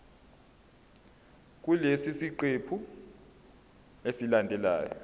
kulesi siqephu esilandelayo